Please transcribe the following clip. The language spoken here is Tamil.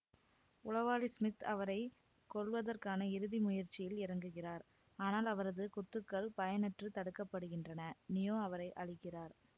உளவாளி ஸ்மித் அவரை கொல்வதற்கான இறுதி முயற்சியில் இறங்குகிறார் ஆனால் அவரது குத்துக்கள் பயனற்று தடுக்கப்படுகின்றன நியோ அவரை அழிக்கிறார்